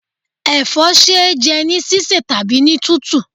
Ẹ̀fọ́ ṣe é jẹ́ ní sísẹ̀ tàbí ní tútù.